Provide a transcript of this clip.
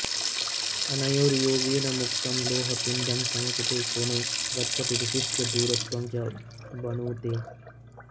अनयोर्योगेन मुक्तं लोहपिण्डं समुचिते कोणे गच्छति विशिष्य दूरत्वं च वणुते